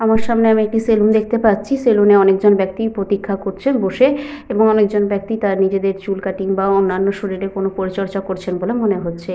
আমার সামনে আমি একটি সেলুন দেখতে পাচ্ছি। সেলুনে অনেক জন ব্যক্তি প্রতিক্ষা করছে বসে এবং অনেকজন ব্যক্তি তারা নিজেদের চুল কাটিং বা অন্যান্য শরীরে কোন পরিচর্যা করছেন বলে মনে হচ্ছে।